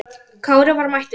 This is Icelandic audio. Kári var mættur!